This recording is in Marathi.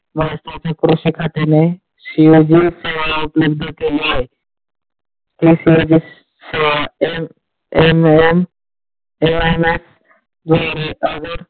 क्रुशि शेत्रातील केले आहे. .